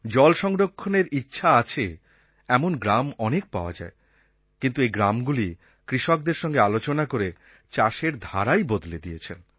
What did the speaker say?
জল সংরক্ষণের ইচ্ছা আছে এমন গ্রাম অনেক পাওয়া যায় কিন্তু এই গ্রামগুলি কৃষকদের সঙ্গে আলোচনা করে চাষের ধারাই বদলে দিয়েছেন